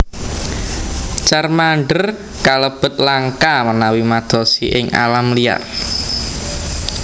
Charmander kalebet langka menawi madosi ing alam liar